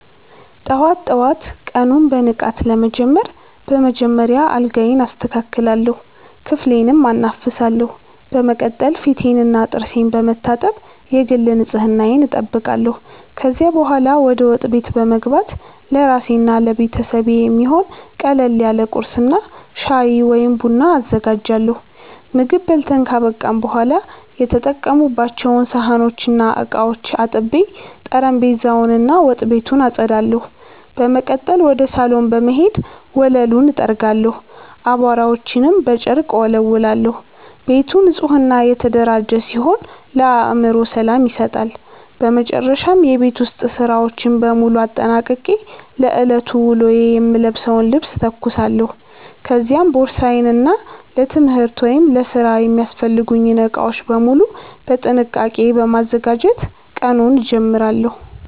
ጠዋት ጠዋት ቀኑን በንቃት ለመጀመር በመጀመሪያ አልጋዬን አስተካክላለሁ፣ ክፍሌንም አናፍሳለሁ። በመቀጠል ፊቴንና ጥርሴን በመታጠብ የግል ንጽህናዬን እጠብቃለሁ። ከዚያ በኋላ ወደ ወጥ ቤት በመግባት ለራሴና ለቤተሰቤ የሚሆን ቀለል ያለ ቁርስ እና ሻይ ወይም ቡና አዘጋጃለሁ። ምግብ በልተን ካበቃን በኋላ የተጠቀሙባቸውን ሳህኖችና ዕቃዎች አጥቤ፣ ጠረጴዛውን እና ወጥ ቤቱን አጸዳለሁ። በመቀጠል ወደ ሳሎን በመሄድ ወለሉን እጠርጋለሁ፣ አቧራዎችንም በጨርቅ እወለውላለሁ። ቤቱ ንጹህና የተደራጀ ሲሆን ለአእምሮ ሰላም ይሰጣል። በመጨረሻም የቤት ውስጥ ሥራዎችን በሙሉ አጠናቅቄ ለዕለቱ ውሎዬ የምለብሰውን ልብስ እተኩሳለሁ፤ ከዚያም ቦርሳዬን እና ለትምህርት ወይም ለሥራ የሚያስፈልጉኝን ዕቃዎች በሙሉ በጥንቃቄ በማዘጋጀት ቀኑን እጀምራለሁ።